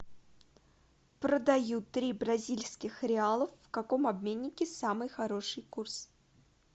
продаю три бразильских реалов в каком обменнике самый хороший курс